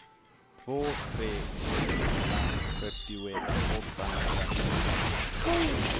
två tre ett fem fyrtioett åttahundranio